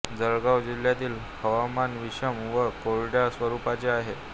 जळगाव जिल्ह्यातील हवामान विषम व कोरड्या स्वरूपाचे आहे